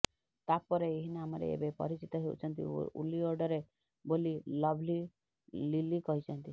ତାପରେ ଏହି ନାମରେ ଏବେ ପରିଚିତ ହେଉଛନ୍ତି ଓଲିଉଡରେ ବୋଲି ଲଭଲି ଲିଲି କହିଛନ୍ତି